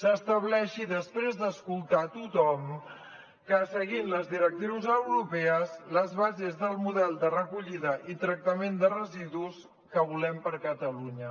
s’estableixi després d’escoltar a tothom seguint les directrius europees les bases del model de recollida i tractament de residus que volem per a catalunya